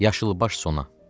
Yaşılbaş sona.